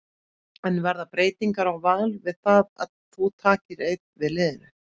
En verða breytingar á Val við það að þú takir einn við liðinu?